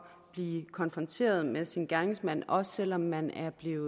blive konfronteret med sin gerningsmand også selv om man er blevet